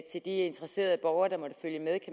de interesserede borgere der måtte følge med